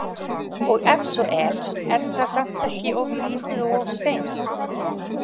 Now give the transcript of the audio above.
Og ef svo er, er það samt ekki of lítið og of seint?